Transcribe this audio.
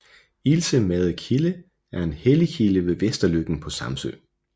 Ilse Made kilde er en helligkilde ved Vesterløkken på Samsø